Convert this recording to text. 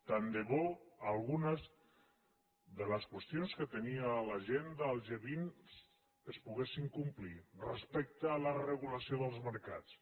tant de bo algunes de les qüestions que tenia a l’agenda el g20 es poguessin complir respecte a la regulació dels mercats